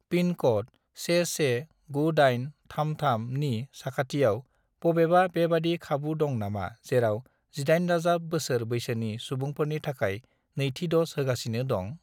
Pin code 119833 नि साखाथियाव बबेबा बेबादि खाबु दं नामा जेराव 18+ बोसोर बैसोनि सुबुंफोरनि थाखाय नैथि द'ज होगासिनो दं?